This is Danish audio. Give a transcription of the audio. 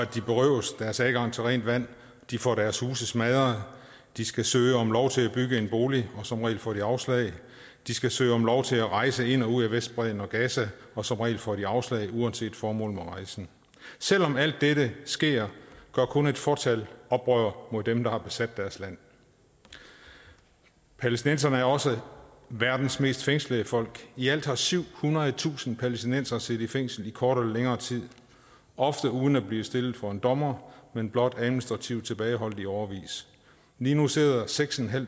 de berøves deres adgang til rent vand de får deres huse smadret de skal søge om lov til at bygge en bolig og som regel får de afslag de skal søge om lov til at rejse ind og ud af vestbredden og gaza og som regel får de afslag uanset formålet med rejsen selv om alt dette sker gør kun et fåtal oprør mod dem der har besat deres land palæstinenserne er også verdens mest fængslede folk i alt har syvhundredetusind palæstinensere siddet i fængsel i kortere eller længere tid ofte uden at blive stillet for en dommer men blot administrativt tilbageholdt i årevis lige nu sidder seks